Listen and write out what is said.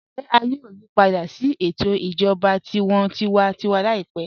Ǹjẹ à yòò yípadà sí ètò ìjọba tí wọ́n tìwàntìwà láípẹ̀?